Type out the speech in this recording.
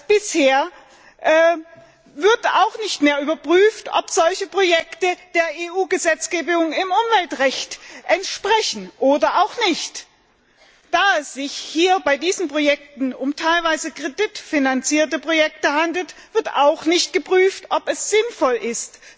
Anders als bisher wird auch nicht mehr überprüft, ob solche Projekte der EU Gesetzgebung im Umweltbereich entsprechen oder eben nicht. Da es sich bei diesen Projekten um teilweise kreditfinanzierte Projekte handelt, wird auch nicht geprüft, ob es sinnvoll ist,